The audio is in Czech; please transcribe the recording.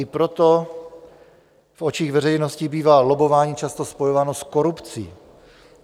I proto v očích veřejnosti bývá lobbování často spojováno s korupcí.